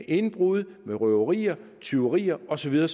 indbrud røverier tyverier og så videre